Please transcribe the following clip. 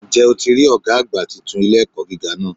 Ǹ jẹ́ o ti rí Ọ̀gá àgbà titun ilé-ẹ̀kọ́ gíga náà